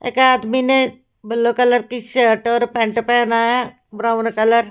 एक आदमी ने ब्लू कलर की शर्ट और पैंट पहना ब्राउन कलर --